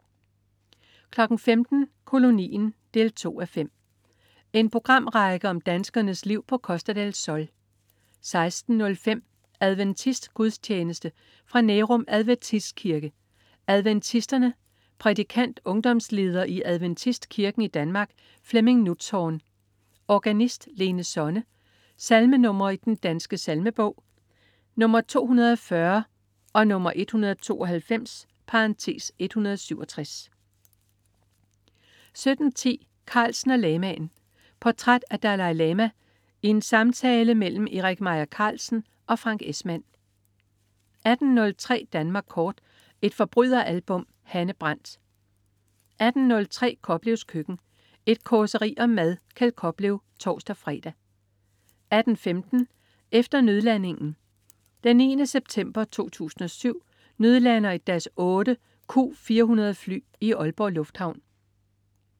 15.00 Kolonien 2:5. En programrække om danskernes liv på Costa del Sol 16.03 Adventistgudstjeneste. fra Nærum Adventistkirke, Adventisterne. Prædikant: ungdomsleder i Adventistkirken i Danmark, Flemming Nutzhorn. Organist: Lene Sonne. Salmenr. i Den Danske Salmebog: 240, 192 (167) 17.10 Carlsen og lamaen. Portræt af Dalai Lama i en samtale mellem Erik Meier Carlsen og Frank Esmann 18.03 Danmark kort. Et forbryderalbum. Hanne Brandt 18.08 Koplevs Køkken. Et causeri om mad. Kjeld Koplev (tors-fre) 18.15 Efter nødlandingen. Den 9. september 2007 nødlander et Dash8/Q400 fly i Aalborg Lufthavn